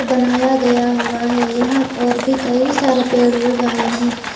बनाया गया हुआ है यहां और भी कइ सारे पेड़ उगाए गए हैं।